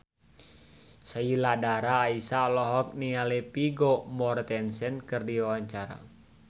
Sheila Dara Aisha olohok ningali Vigo Mortensen keur diwawancara